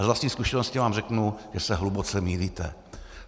Ale z vlastní zkušenosti vám řeknu, že se hluboce mýlíte.